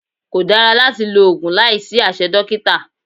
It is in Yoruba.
Kò dára láti lo oògùn láìsí àṣẹ dókítà